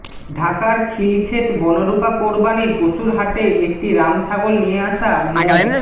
ঢাকার খিলক্ষেত বনরূপা কোরবানির পশুর হাটে একটি রাম ছাগল নিয়ে আসা মো